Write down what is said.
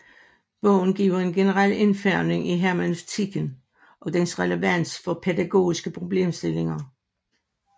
Bogen giver en generel indføring i hermeneutikken og dens relevans for pædagogiske problemstillinger